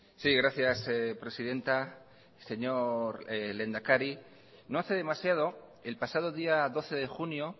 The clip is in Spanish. sí gracias presidenta señor lehendakari no hace demasiado el pasado día doce de junio